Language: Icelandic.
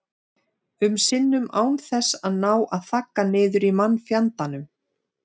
um sinnum án þess að ná að þagga niður í mannfjandanum.